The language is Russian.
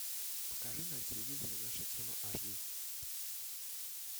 покажи на телевизоре наша тема аш ди